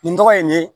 Nin tɔgɔ ye nin ye